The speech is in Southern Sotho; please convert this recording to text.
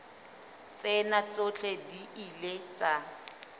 tsena tsohle di ile tsa